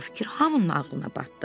Bu fikir hamının ağlına batdı.